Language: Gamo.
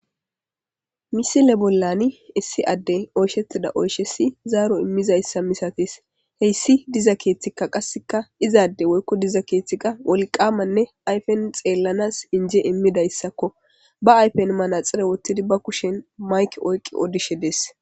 Misile bollan issi adey oyishetida oyishas zaro imizaysa misates hays izi diza kethata woyiko woliqqamanee ayipen xelanas inije imidayisako ba ayipen manaxirewothidi ba kushen mayike oyikidi odishe de'es